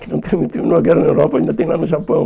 Que não termi terminou a guerra na Europa, ainda tem lá no Japão.